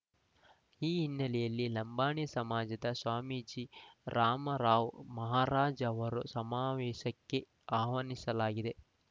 ಈ ಹಿನ್ನೆಲೆಯಲ್ಲಿ ಲಂಬಾಣಿ ಸಮಾಜದ ಸ್ವಾಮೀಜ ರಾಮರಾವ್‌ ಮಹಾರಾಜ್‌ ಅವರು ಸಮಾವೇಶಕ್ಕೆ ಆಹ್ವಾನಿಸಲಾಗಿದೆ